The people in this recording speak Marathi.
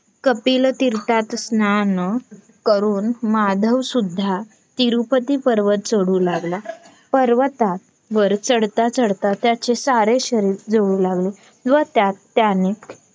कपिलतीर्थाथ स्नान करून माधवसुद्धा तिरुपती पर्वत चडू लागला. पर्वतावर चडता चडता त्याचे सारे शरीर जळू लागले व त्यास त्याने